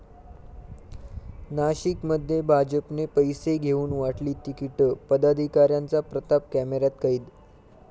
नाशिकमध्ये भाजपने पैसे घेऊन वाटली तिकिटं, पदाधिकाऱ्यांचा प्रताप कॅमेऱ्यात कैद